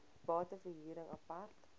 bate verhuring apart